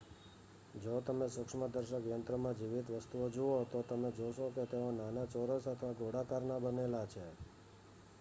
જો તમે સૂક્ષ્મદર્શક યંત્રમાં જીવિત વસ્તુઓ જુઓ તો તમે જોશો કે તેઓ નાના ચોરસ અથવા ગોળાકારનાં બનેલા છે